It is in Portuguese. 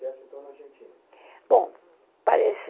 então na Argentina? Bom, parece